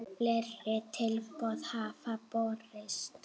Fleiri tilboð hafa borist.